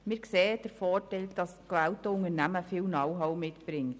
Wir sehen den Vorteil, dass das gewählte Unternehmen viel Know-how mitbringt.